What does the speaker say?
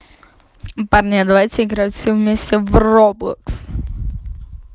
парни а давайте играть все вместе в роблокс